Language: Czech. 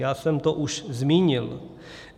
Já jsem to už zmínil.